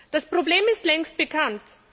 Das Problem ist längst bekannt.